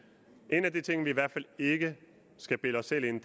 en af de ting som vi i hvert fald ikke skal bilde os selv ind